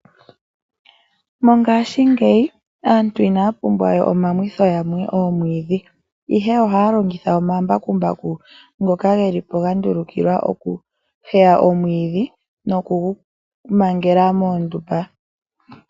Mongashingeyi aantu inaya pumbwa we omamwitho yamwe oomwiidhi, ihe ohaya longitha omambakumbaku ngoka geli po gandulukilwa okuheya omwiidhi nokugumangela muundumba.